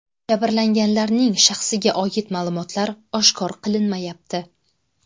Jabrlanganlarning shaxsiga oid ma’lumotlar oshkor qilinmayapti.